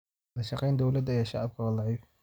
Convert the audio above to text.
Wadashaqeynta dowladda iyo shacabka waa daciif.